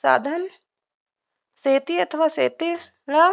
साधन शेती अथवा शेतीला